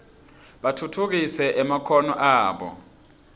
batfutfukise emakhono abo